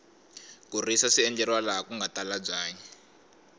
ku risa swi endleriwa laha kunga tala byanyi